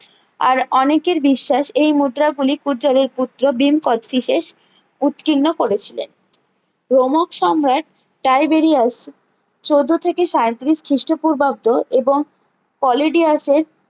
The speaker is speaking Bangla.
আর অনেকের বিশ্বাস এই মুদ্রা গুলি পূজ্যালের পুত্র ভীম কোষ্ঠীসেস উৎকীর্ণ করেছিলেন ভমক সংগহে টাইবেরিয়াস চোদ্দো থেকে সায়েত্রিরিশ খিস্ট পূর্বাব্দ এবং পলিডিয়াসের